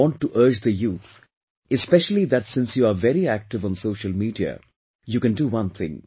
I want to urge the youth especially that since you are very active on social media, you can do one thing